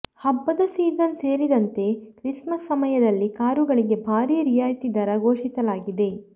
ಹಬ್ಬದ ಸೀಸನ್ ಸೇರಿದಂತೆ ಕ್ರಿಸ್ಮಸ್ ಸಮಯದಲ್ಲಿ ಕಾರುಗಳಿಗೆ ಭಾರಿ ರಿಯಾಯಿತಿ ದರ ಘೋಷಿಸಲಾಗಿದೆ